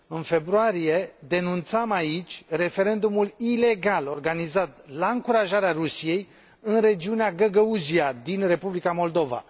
În februarie, denunțam aici referendumul ilegal organizat, la încurajarea Rusiei, în regiunea Găgăuzia din Republica Moldova.